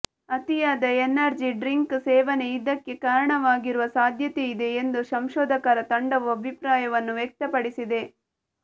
ಅತಿಯಾದ energy drink ಸೇವನೆ ಇದಕ್ಕೆ ಕಾರಣವಾಗಿರುವ ಸಾಧ್ಯತೆಯಿದೆ ಎಂದು ಸಂಶೋಧಕರ ತಂಡವು ಅಭಿಪ್ರಾಯವನ್ನು ವ್ಯಕ್ತಪಡಿಸಿದೆ